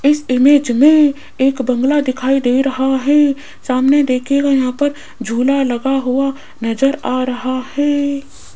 इस इमेज में एक बंगला दिखाई दे रहा है सामने देखिएगा यहां पर झूला लगा हुआ नजर आ रहा है।